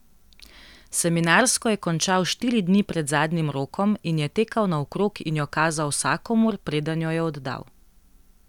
Seminarsko je končal štiri dni pred zadnjim rokom in je tekal naokrog in jo kazal vsakomur, preden jo je oddal.